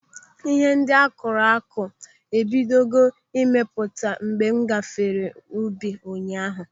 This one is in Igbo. Ihe ndị akụrụ akụ ebidogo ịmịpụta mgbe m gafere n'ubi ụnyaahụ.